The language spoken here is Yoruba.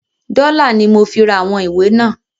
“Dọ́là"ni mo fi ra àwọn ìwé náà.